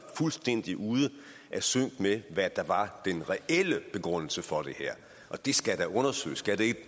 fuldstændig ude af sync med hvad der var den reelle begrundelse for det her og det skal da undersøges skal det